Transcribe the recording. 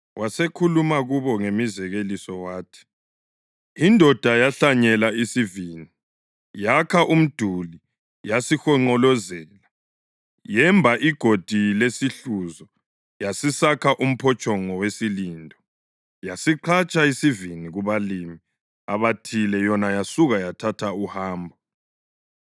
Wasekhuluma kubo ngemizekeliso wathi, “Indoda yahlanyela isivini. Yakha umduli yasihonqolozela, yemba igodi lesihluzo yasisakha umphotshongo wesilindo. Yasiqhatshisa isivini kubalimi abathile yona yasuka yathatha uhambo.